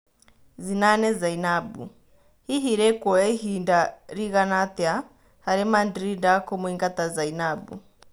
Zinane Zainabu: Hihi rĩkuoya ihinda rĩiga atĩa harĩ Mandrinda kũmũingata Zainabu?